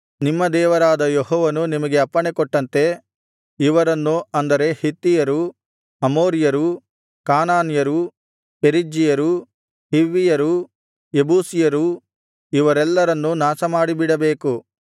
ನಿಮ್ಮ ದೇವರಾದ ಯೆಹೋವನು ನಿಮಗೆ ಅಪ್ಪಣೆಕೊಟ್ಟಂತೆ ಇವರನ್ನು ಅಂದರೆ ಹಿತ್ತಿಯರು ಅಮೋರಿಯರು ಕಾನಾನ್ಯರು ಪೆರಿಜ್ಜೀಯರು ಹಿವ್ವಿಯರು ಯೆಬೂಸಿಯರು ಇವರೆಲ್ಲರನ್ನೂ ನಾಶಮಾಡಿಬಿಡಬೇಕು